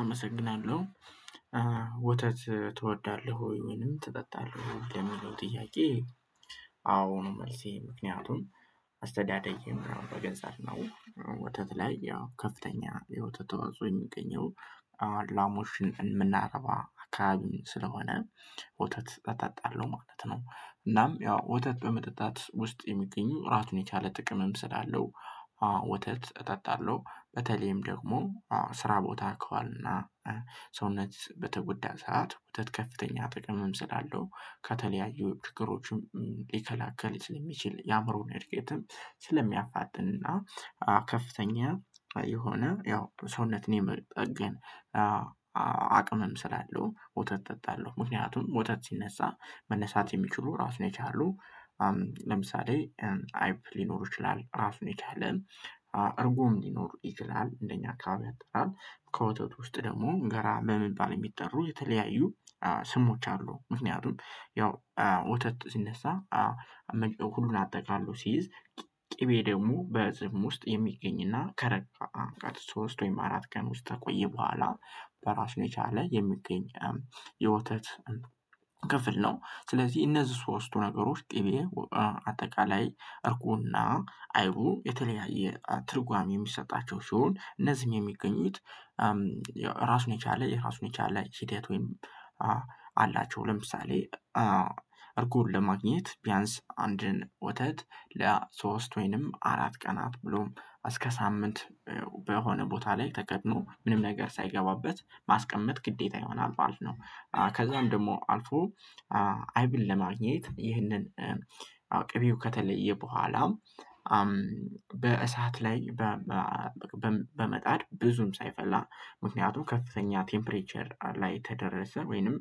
አመሰግናለሁ። ወተት ትወዳለህ ወይ ወይንም ትጠጣለህ ለሚለው ጥያቄ? አዎ ነው። መልሴ ምክንያቱም አስተዳደጌም በገጠር ነው። ወተት ላይ ያው ከፍተኛ የወተት ተዋጽኦ የሚገኘው ላሞችን የምናረባ አካባቢን ስለሆነ ወተት አጣጣለሁ ማለት ነው። እናም ያው ወተት በመጠጣት ውስጥ የሚገኙ ራሱን የቻለ ጥቅምም ስላለው ወተት እጣጣለሁ። በተለይም ደግሞ ስራ ቦታ ከዋልን እና። ሰውነት በተጎዳ ሰዓት ወተት ከፍተኛ ጥቅምም ሰላለው ከተለያዩ ችግሮችም ሊከላከል ስለሚችል የአእምሮን እድገትም ስለሚያፋጥንና ከፍተኛ የሆነ ያው ሰውነትን የመጠገን አቅምም ስላለው ወተት እጠጣለሁ። ምክንያቱም ወተት ሲነሳ መነሳት የሚችሉ ራሱ የቻሉ ለምሳሌ አይብ ሊኖሩ ይችላል። እራሱን ይቻለ እርጎም ሊኖር ይችላል። እንደኛ አካባቢ አጥራር ከወተቱ ውስጥ ደግሞ ገራ በመባል የሚጠሩ የተለያዩ ስሞች አሉ። ምክንያቱም ያው ወተት ሲነሳ ሁሉን አጠቃሎ ሲይዝ ቅቤ ደግሞ በዝም ውስጥ የሚገኝና ከረጋ ሶስት ወይም አራት ቀን ውስጥ ከቆየ በኋላ በራሱ የቻለ የሚገኝ የወተት ክፍል ነው። ስለዚህ እነዚህ ሶስቱ ነገሮች ቅቤ አጠቃላይ እርጎና አይቡ የተለያየ ትርጓሜ የሚሰጣቸው ሲሆን እነዚህም የሚገኙት። ራሱን የቻለ የራሱን የቻለ ሂደት ወይም አላቸው። ለምሳሌ እርጎን ለማግኘት ቢያንስ አንድን ወተት ለሶስት ወይንም አራት ቀናት ብሎም እስከ ሳምንት በሆነ ቦታ ላይ ተከድኖ ምንም ነገር ሳይገባበት ማስቀመጥ ግዴታ ይሆናል ማለት ነው። ከዛም ደግሞ አልፎ አይብን ለማግኘት ይህንን ቅቤው ከተለየ በኋላ በእሳት ላይ በመጣድ ብዙም ሳይፈላ ምክንያቱም ከፍተኛ ቴምፕሪቸር ላይ ከደረሰ ወይንም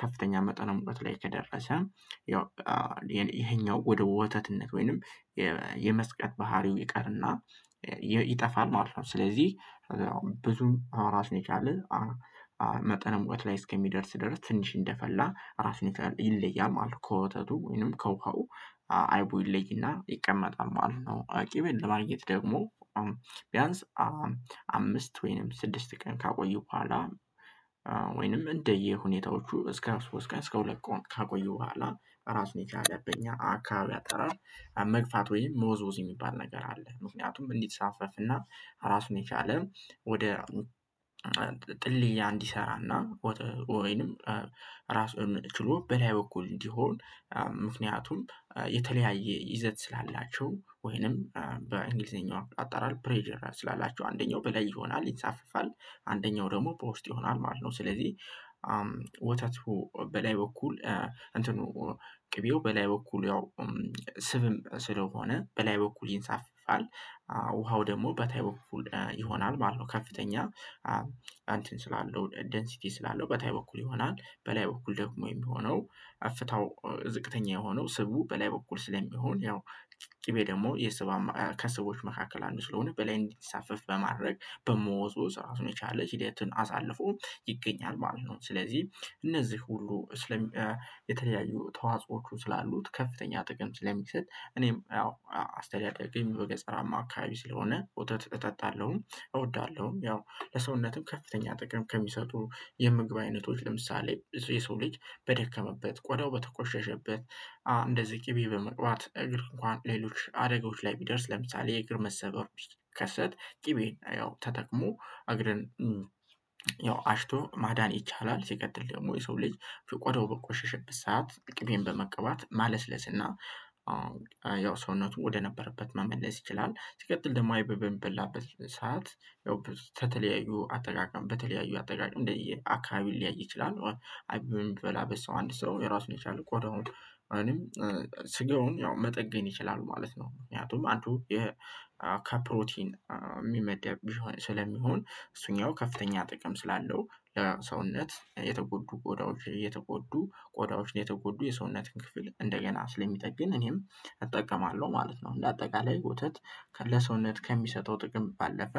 ከፍተኛ መጠነ ሙቀት ላይ ከደረሰ ያው ይሄኛው ወደ ወተትነት ወይንም የመዝቀጥ ባህሪው ይቀርና ይጠፋል ማለት ነው። ስለዚህ ብዙም ራሱን የቻለ መጠነ ሙቀት ላይ እስከሚደርስ ድረስ ትንሽ እንደፈላ ራሱ ይለያል ማለት ከወተቱ ወይንም ከውሃው አይቡ ይለይና ይቀመጣል ማለት ነው። ቅቤን ለማግኘት ደግሞ ቢያንስ አምስት ወይንም ስድስት ቀን ካቆዩ በኋላ ወይንም እንደየ ሁኔታዎቹ እስከ ሶስት እስከ ሁለት ቀን ካቆዩ በኋላ እራሱን የቻለ በእኛ አካባቢ አጠራር መግፋት ወይም መወዝወዝ የሚባል ነገር አለ። ምክንያቱም እንዲንሳፈፍና እና ራሱን የቻለ ወደ ጥልያ እንዲሰራና ወይንም ራሱን ችሎ በላይ በኩል እንዲሆን ምክንያቱም የተለያየ ይዘት ስላላቸው ወይንም በእንግሊዘኛው አጣራል ፕሬዠር ስላላቸው አንደኛው በላይ ይሆናል ይንሳፈፋል አንደኛው ደግሞ ወውስጥ ይሆናል ማለት ነው። ስለዚህ ወተቱ በላይ በኩል እንትኑ ቅቤው በላይ በኩል ያው ስብም ስለሆነ በላይ በኩል ይንሳፍፋል። ውሃው ደግሞ በታይ በኩል ይሆናል ማለት ነው። ከፍተኛ አንተን ስላለው ደንሲቲ ስላለው በታይ በኩል ይሆናል በላይ በኩል ደግሞ የሚሆነው አፍታው ዝቅተኛ የሆነው ስቡ በላይ በኩል ስለሚሆን ያው ቅቤ ደግሞ ከሰዎች መካከል አንዱ ስለሆነ በላይ እንዲሳፈፍ በማድረግ በመወዝወዝ ራሱን የቻለ ሂደትን አሳልፎ ይገኛል ማለት ነው። ስለዚህ እነዚህ ሁሉ ስለሚ የተለያዩ ተዋጾዎቹ ስላሉት ከፍተኛ ጥቅም ስለሚሰጥ እኔም ያው አስተዳደጌም በገጠራማ አካባቢ ስለሆነ ወተት እጠጣለሁ እወዳለሁ። ያው ለሰውነትም ከፍተኛ ጥቅም ከሚሰጡ የምግብ አይነቶች ለምሳሌ የሰው ልጅ በደከመበት ቆዳው በተቆሸሸበት እንደዚህ ቅቤ በመቅባት እግር እንኳን ሌሎች አደጋዎች ላይ ቢደርስ ለምሳሌ የእግር መሰበር ቢከሰት ቅቤን ያው ተጠቅሞ እግርን ያው አሽቶ ማዳን ይቻላል። ሲቀጥል ደግሞ የሰው ልጂ ቆዳው በቆሸሸበት ሰዓት ቅቤን በመቀባት ማለስለስና ያው ሰውነቱ ወደነበረበት መመለስ ይችላል። ሲቀጥል ደግሞ አይብ በሚበላበት ሰዓት ያው በተለያዩ አጠቃቀም በተለያዩ አጠቃቀም እንደየ አካባቢ ሊለያይ ይችላል። አይብ በሚበላ ሰው አንድ ሰው የራሱን የቻለ ቆዳውን ስጋውን ያው መጠግን ይችላሉ ማለት ነው። ምክንያቱም አንዱ ከፕሮቲን እሚመደብ ስለሚሆን እሱኛው ከፍተኛ ጥቅም ስላለው ለሰውነት የተጎዱ ቆዳዎች የተጎዱ ቆዳዎች የተጎዱ የሰውነትን ክፍል እንደገና ስለሚጠግን እኔም እጠቀማለሁ ማለት ነው። እንደ አጠቃላይ ወተት ለሰውነት ከሚሰጠው ጥቅም ባለፈ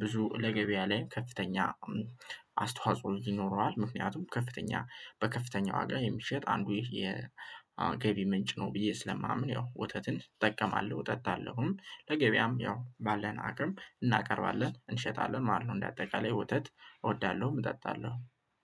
ብዙ ለገበያ ላይ ከፍተኛ አስተዋጽኦ ይኖረዋል። ምክንያቱም ከፍተኛ በከፍተኛ ዋጋ የሚሸጥ አንዱ የገቢ ምንጭ ነው ብዬ ስለማምን ያው ወተትን እጠቀማለሁ እጠጣለሁም። ለገበያም ያው ባለን አቅም እናቀርባለን እንሸጣለን ማለት ነው። እንደ አጠቃላይ ወተት እወዳለሁ እጠጣለሁ።